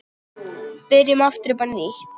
Byrjum aftur upp á nýtt.